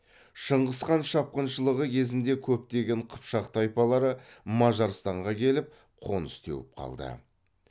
шыңғысхан шапқыншылығы кезінде көптеген қыпшақ тайпалары мажарстанға келіп қоныс теуіп қалды